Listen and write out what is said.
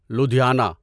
Ludhiana